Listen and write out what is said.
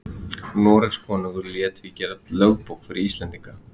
Noregskonungur lét því gera lögbók fyrir Íslendinga.